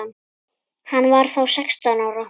Hann var þá sextán ára.